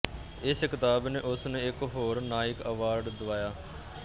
ਇਸ ਕਿਤਾਬ ਨੇ ਉਸ ਨੂੰ ਇੱਕ ਹੋਰ ਨਾਈਕ ਅਵਾਰਡ ਦਿਵਾਇਆ